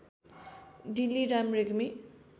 Dilliram Regmi